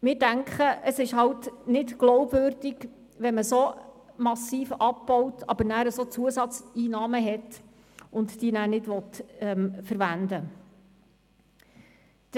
Wir denken, es ist nicht glaubwürdig, wenn man so massiv abbaut und dann solche Zusatzeinnahmen hat, diese aber nicht verwenden will.